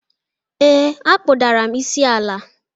Ee, akpụdara m isi ala